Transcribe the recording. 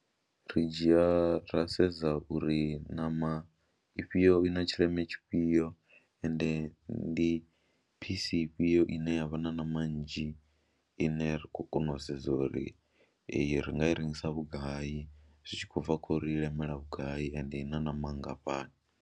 Ri dzhia ra sedza uri ṋama ifhio i na tshileme tshifhio ende ndi phisi ifhio ine ya vha na ṋama nnzhi ine ra khou kona u sedza uri iyi ri nga i rengisa vhugai zwi tshi khou bva khou ri i lemela vhugai ende i na ṋama nngafhani.